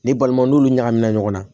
Ni balima n'olu ɲagamina ɲɔgɔn na